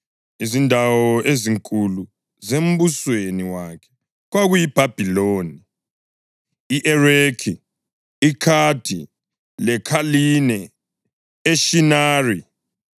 Izindawo ezinkulu zembusweni wakhe kwakuyiBhabhiloni, i-Erekhi, i-Akhadi leKhaline eShinari.